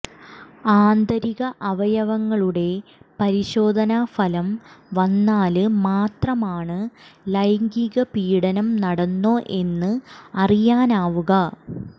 ആന്തരിക അവയവങ്ങളുടെ പരിശോധനാ ഫലം വന്നാല് മാത്രമാണ് ലൈംഗിക പീഡനം നടന്നോ എന്ന് അറിയാനാവുക